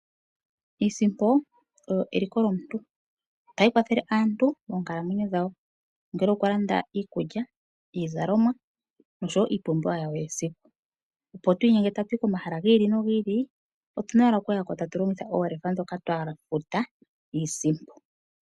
Iisimpo oyo eliko lyomuntu otayi kwathele aantu monkalamwenyo dhawo ongele okulanda iikulya, iizalomwa noshowo iipumbiwa yawo yesiku opo twiinyenge tatu yi komahala giili no giili otuna owala okuyako tatu longitha oolefa ndhoka twa futa iisimpo.